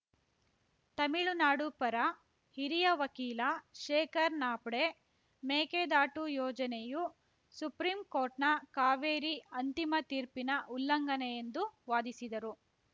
ತಮಿಳುನಾಡು ಪರ ಹಿರಿಯ ವಕೀಲ ಶೇಖರ್‌ ನಾಫ್ಡೆ ಮೇಕೆದಾಟು ಯೋಜನೆಯು ಸುಪ್ರೀಂ ಕೋರ್ಟ್‌ನ ಕಾವೇರಿ ಅಂತಿಮ ತೀರ್ಪಿನ ಉಲ್ಲಂಘನೆ ಎಂದು ವಾದಿಸಿದರು